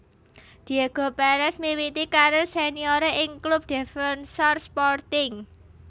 Diego Pérez miwiti karir senioré ing klub Defensor Sporting